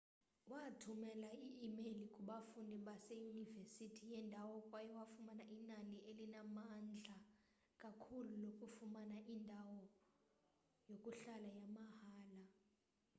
wathumela i-imeyile kubafundi beyunivesithi yendawo kwaye wafumana inani elinamandla kakhulu lokufumana indawo indawo yokuhlala yamahhala